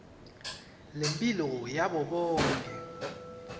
lemphilo yabo bonkhe